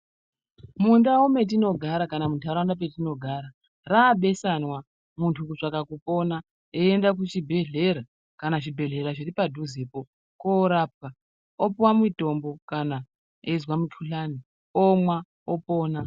Mundau metinogara kana muntaraunda metinogara rabesanwa muntu kutsvaka kupona eienda kuchibhedhleya kana zvibhedhleya zviri padhuzepo korapwa opuwa mutombo kana eizwa mukuhlani omwa opona.